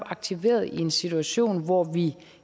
aktiveret i en situation hvor vi